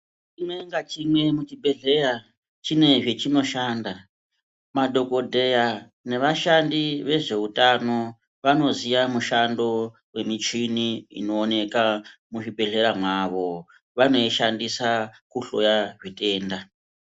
Chimwe ngachimwe muchibhedhleya chine zvechinoshanda. Madhokodheya nevashandi vezveutano vanoziva mishando yemichini inoonekwa muzvibhedhlera mavo, vanoishandisa kuhloya zvitenda.